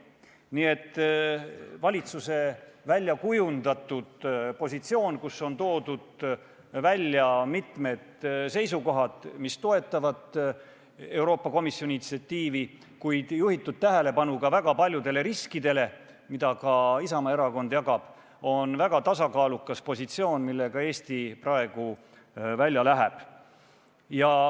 Nii et valitsuse kujundatud positsioon, mille puhul on toodud välja mitmed seisukohad, mis toetavad Euroopa Komisjoni initsiatiivi, kuid ühtlasi juhitud tähelepanu väga paljudele riskidele, mida ka Isamaa Erakond jagab, on väga tasakaalukas positsioon, millega Eesti praegu välja läheb.